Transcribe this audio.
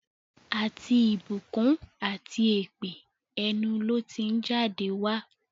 Àti ìbùkún àti èpè, ẹnu ló ti ń jáde wá.